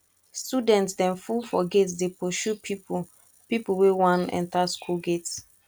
student dem full for gate dey pursue pipu pipu wey wan enta skool gate